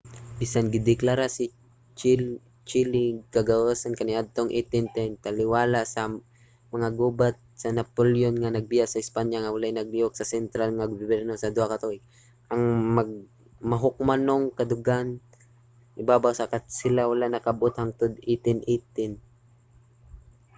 bisan gideklara sa chile ang kagawasan kaniadtong 1810 taliwala sa mga gubat sa napoleon nga nagbiya sa espanya nga walay nagalihok nga sentral nga gobyerno sa duha ka tuig ang mahukmanong kadaugan ibabaw sa katsila wala nakab-ot hangtod 1818